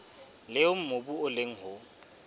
leo mobu o leng ho